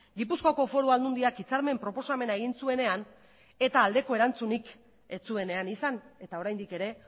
gipuzkoako foru aldundiak hitzarmen proposamena egin zuenean eta aldeko erantzunik ez zuenean izan eta oraindik ere